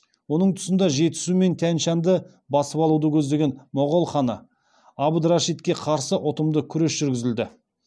оның тұсында жетісу мен тянь шаньды басып алуды көздеген моғол ханы абд рашидке қарсы ұтымды күрес жүргізілді